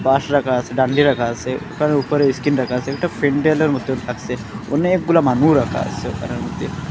রাখা আসে ডান্ডি রাখা আসে তার উপরে স্ক্রিন রাখা আসে একটা মত লাগছে অনেকগুলা মাদুর রাখা আসে ঘরের মধ্যে।